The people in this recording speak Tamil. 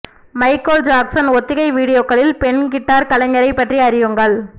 மைக்கேல் ஜாக்சன் ஒத்திகை வீடியோக்களில் பெண் கிட்டார் கலைஞரைப் பற்றி அறியுங்கள்